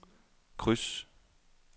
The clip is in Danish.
kryds